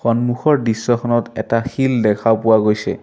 সন্মুখৰ দৃশ্যখনত এটা শিল দেখা পোৱা গৈছে।